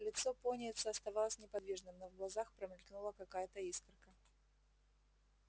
лицо пониетса оставалось неподвижным но в глазах промелькнула какая-то искорка